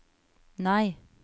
nei